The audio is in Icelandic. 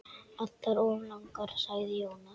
Allar of langar, sagði Jónas.